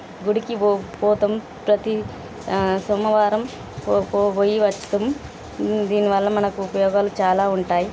గుడికి పో- పోతాం ప్రతి ఆ సోమవారం పో-పో- పోయి వస్తాం. దీనివల్ల మనకు ఉపయోగాలు చాలా ఉంటాయి.